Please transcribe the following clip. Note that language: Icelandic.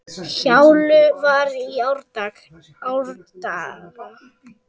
Njálu var í árdaga.